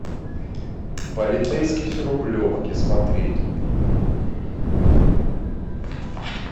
полицейский с рублевки смотреть